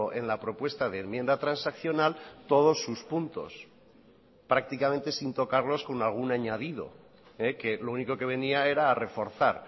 en la propuesta de enmienda transaccional todos sus puntos prácticamente sin tocarlos con algún añadido que lo único que venía era a reforzar